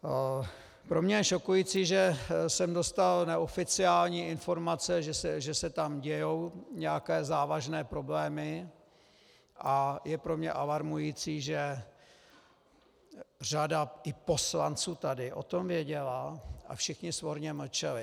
Pro mě je šokující, že jsem dostal neoficiální informace, že se tam dějí nějaké závažné problémy, a je pro mě alarmující, že řada i poslanců tady o tom věděla a všichni svorně mlčeli.